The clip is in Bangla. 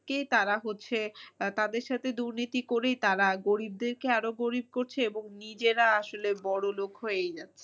তারা হচ্ছে আহ তাদের সাথে দুর্নীতি করেই তারা গরিবদেরকে আরো গরিব করছে এবং নিজেরা আসলে বড়ো লোক হয়েই যাচ্ছে।